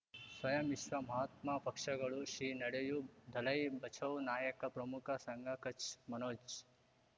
ಸ್ವಯಂ ವಿಶ್ವ ಮಹಾತ್ಮ ಪಕ್ಷಗಳು ಶ್ರೀ ನಡೆಯೂ ದಲೈ ಬಚೌ ನಾಯಕ ಪ್ರಮುಖ ಸಂಘ ಕಚ್ ಮನೋಜ್